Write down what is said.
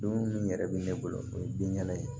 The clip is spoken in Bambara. Don min yɛrɛ bɛ ne bolo o ye binkɛnɛ ye